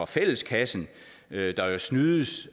fælleskassen der jo snydes